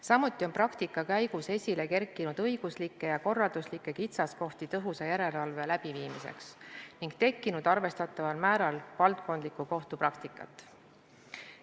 Samuti on praktika käigus esile kerkinud õiguslikke ja korralduslikke kitsaskohti tõhusa järelevalve läbiviimiseks ning tekkinud arvestataval määral valdkondlikku kohtupraktikat.